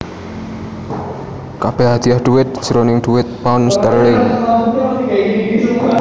Kabèh hadiah dhuwit jroning dhuwit pound sterling